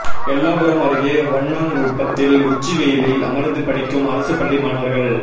எல்லாபுரம் அருகே வண்ணாங்குப்பத்தில் உச்சி வெயிலில் அமர்ந்து படிக்கும் அரசு பள்ளி மாணவர்கள்